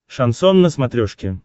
шансон на смотрешке